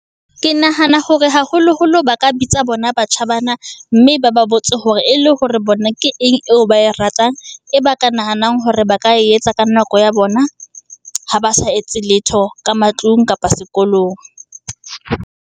Ke nahana hore haholoholo ba ka bitsa bona batjha bana, mme ba ba botse hore e le hore bona ke eng eo ba e ratang, e ba ka nahanang hore ba ka e etsa ka nako ya bona, ha ba sa etse letho ka matlung kapa sekolong.